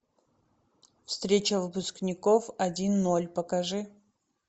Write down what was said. встреча выпускников один ноль покажи